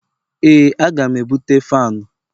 Ee aga m ebute fanu